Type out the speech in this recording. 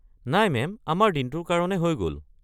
নাই মেম, আমাৰ দিনটোৰ কাৰণে হৈ গ'ল।